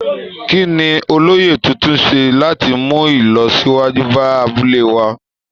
Kí ni olóyè tuntun ṣe láti mú ìlọsíwájú bá abúlé wa?